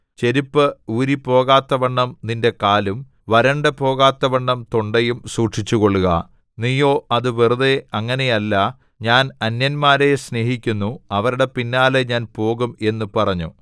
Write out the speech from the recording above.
ചെരിപ്പ് ഊരിപ്പോകാത്തവണ്ണം നിന്റെ കാലും വരണ്ടു പോകാത്തവണ്ണം തൊണ്ടയും സൂക്ഷിച്ചുകൊള്ളുക നീയോ അത് വെറുതെ അങ്ങനെയല്ല ഞാൻ അന്യന്മാരെ സ്നേഹിക്കുന്നു അവരുടെ പിന്നാലെ ഞാൻ പോകും എന്നു പറഞ്ഞു